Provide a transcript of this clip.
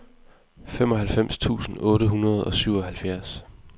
femoghalvfems tusind otte hundrede og syvoghalvfjerds